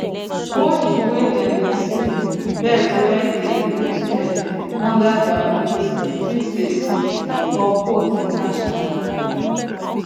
watch the way dem dey sleep bird way dey put head under their wings fit dey sick or cold dey catch am